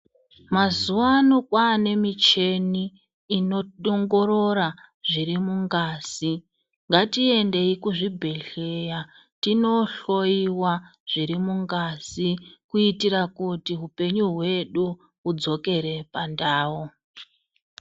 Mazuwano kwane michini inoongorora zviri mungazi. Ngatiendeyi kuzvibhehleya tinohloyiwa zviri mungazi kuitira kuti upenyu hwedu hudzokere pandau.